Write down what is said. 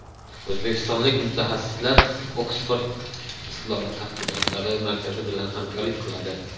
O‘zbekistonlik mutaxassislar Oksford islom tadqiqotlari markazi bilan hamkorlik qiladi.